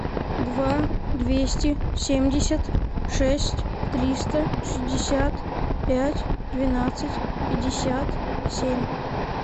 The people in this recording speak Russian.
два двести семьдесят шесть триста шестьдесят пять двенадцать пятьдесят семь